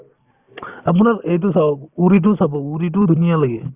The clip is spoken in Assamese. আপোনাৰ এইটো চাওঁক uri তো চাব uri তোও ধুনীয়া লাগে